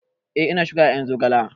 Eh, ina shuka ƴaƴan zogalen